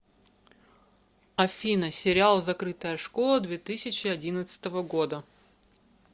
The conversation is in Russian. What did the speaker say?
афина сериал закрытая школа две тысячи одиннадцатого года